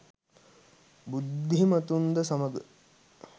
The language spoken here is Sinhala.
බුද්ධිමතුන්ද සමග